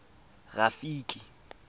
rafiki